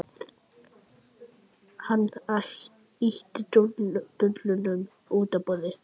Hann ýtti dollunum út á borðið.